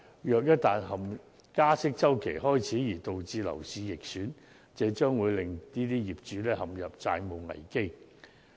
因此，一旦加息周期開始導致樓市逆轉，將會令這些業主陷入債務危機。